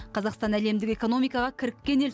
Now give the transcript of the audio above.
қазақстан әлемдік экономикаға кіріккен ел